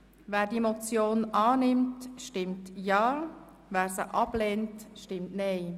Wer die Motion annimmt, stimmt Ja, wer diese ablehnt, stimmt Nein.